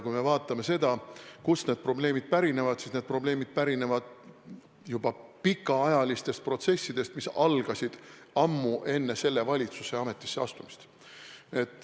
Kui me vaatame seda, kust need probleemid pärinevad, siis näeme, et need probleemid pärinevad pikaajalistest protsessidest, mis algasid ammu enne selle valitsuse ametisse astumist.